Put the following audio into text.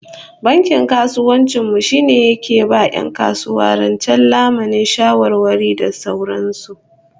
Bankin kasuwancin mu shine yake ba 'yan kasuwa rance, lamuni, shawarwari da sauran su